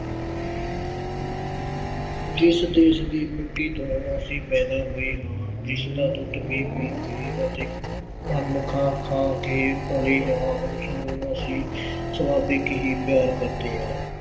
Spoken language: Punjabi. ਜਿਸ ਦੇਸ਼ ਦੀ ਮਿੱਟੀ ਤੋਂ ਅਸੀਂ ਪੈਦਾ ਹੋਏ ਹਾਂ, ਜਿਸ ਦਾ ਦੁੱਧ ਪੀ-ਪੀ ਕੇ ਅਤੇ ਅੰਨ ਖਾ-ਖਾ ਕੇ ਪਲੇ ਹਾਂ ਉਸਨੂੰ ਅਸੀਂ ਸੁਭਾਵਿਕ ਹੀ ਪਿਆਰ ਕਰਦੇ ਹਾਂ।